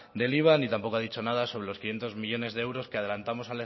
del iva ni tampoco ha dicho sobre los quinientos millónes de euros que adelantamos